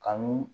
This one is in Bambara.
Ka n'u